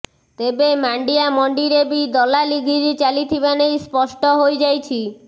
ତେବେ ମାଣ୍ଡିଆ ମଣ୍ଡିରେ ବି ଦଲାଲଗିରି ଚାଲିଥିବା ନେଇ ସ୍ପଷ୍ଟ ହୋଇଯାଇଛି